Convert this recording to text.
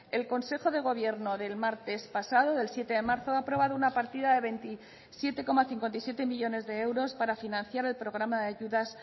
el consejo de gobierno del martes pasado del siete de marzo ha aprobado una partida de veintisiete coma cincuenta y siete millónes de euros para financiar el programa de ayudas